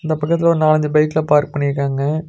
அது பக்கத்துல ஒரு நாலஞ்சு பைக்லா பார்க் பண்ணிருக்காங்க.